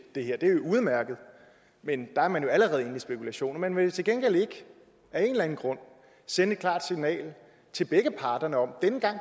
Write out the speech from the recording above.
det her det er jo udmærket men der er man jo allerede inde i spekulationer men man vil til gengæld ikke af en eller anden grund sende et klart signal til begge parterne om at denne gang